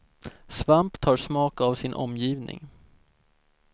Svamp tar smak av sin omgivning.